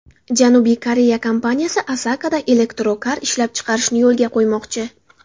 Janubiy Koreya kompaniyasi Asakada elektrokar ishlab chiqarishni yo‘lga qo‘ymoqchi.